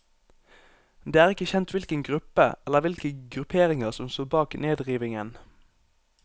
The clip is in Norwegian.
Det er ikke kjent hvilken gruppe eller hvilke grupperinger som står bak nedrivingen.